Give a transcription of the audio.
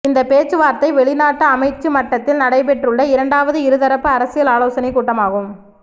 இந்த பேச்சுவார்த்தை வெளிநாட்டு அமைச்சு மட்டத்தில் நடைபெற்றுள்ள இரண்டாவது இருதரப்பு அரசியல் ஆலோசனை கூட்டமாகும்